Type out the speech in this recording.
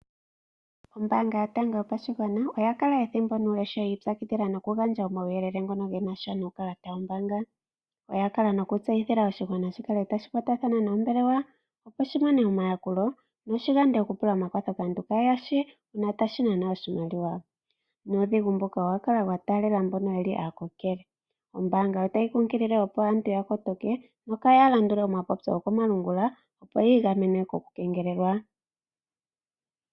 Ombaanga yotango yopashigwana oya kala yiipyakidhila ethimbo nuule oku gandja omauyelele ngono genasha nuukalata wombaaga. Oya kala nokulombwela aakwashigwana ya kale taya kwatathana nombelewa, opo shi kwatathane nombelewa noshi yande okupula omakwatho kaantu Kaye yashi shinasha noshimaliwa. Uudhigu mbuno owa kala unene wa taalela aakokele. Oyayi kunkilile aantu ya kotoke kaya landule omapopyo go komalungula yi ikaleke kokule noku keengelelwa.